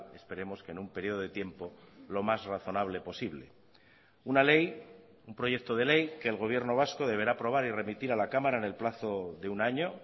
esperemos que en un periodo de tiempo lo más razonable posible una ley un proyecto de ley que el gobierno vasco deberá aprobar y remitir a la cámara en el plazo de un año